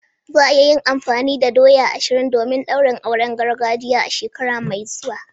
Za a yi amfani da doya guda ashirin domin daurin auren gargajiya a shekara mai zuwa.